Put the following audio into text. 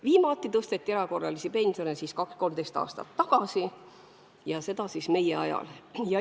Viimati tõsteti erakorraliselt pensione 12–13 aastat tagasi ja see oli meie valitsuse ajal.